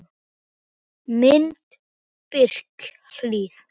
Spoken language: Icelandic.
Mynd: Birkihlíð